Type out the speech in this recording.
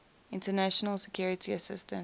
international security assistance